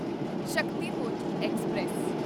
Shaktipunj express